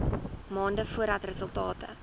maande voordat resultate